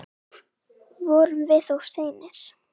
Vorum við of seinir?